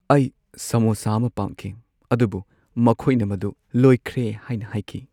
ꯑꯩ ꯁꯥꯃꯣꯁꯥ ꯑꯃ ꯄꯥꯝꯈꯤ ꯑꯗꯨꯕꯨ ꯃꯈꯣꯏꯅ ꯃꯗꯨ ꯂꯣꯏꯈ꯭ꯔꯦ ꯍꯥꯏꯅ ꯍꯥꯏꯈꯤ꯫